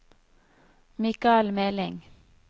Mikael Meling